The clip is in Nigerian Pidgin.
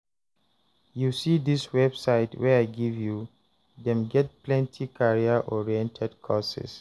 you see dis website wey I give you, them get plenty career-oriented courses